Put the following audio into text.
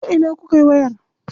Ta ina kukayi wayar?